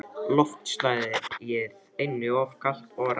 Loftslagið einnig of kalt og rakt.